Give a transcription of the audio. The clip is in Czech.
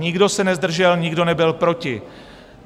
Nikdo se nezdržel, nikdo nebyl proti.